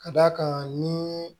Ka d'a kan ni